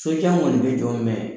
Sojan kɔni bɛ jɔ